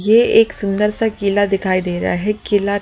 ये एक सुंदर सा किला दिखाई दे रहा है किला--